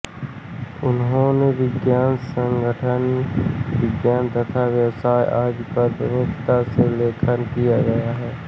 उन्होने विज्ञान संगणक विज्ञान तथा व्यवसाय आदि पर प्रमुखता से लेखन किया है